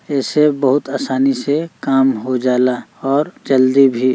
एसे बहुत आसानी से काम हो जाला और जल्दी भी।